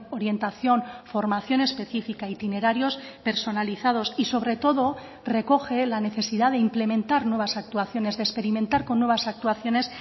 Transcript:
orientación formación específica itinerarios personalizados y sobre todo recoge la necesidad de implementar nuevas actuaciones de experimentar con nuevas actuaciones